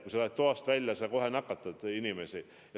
Kui sa lähed toast välja, sa kohe nakatad inimesi.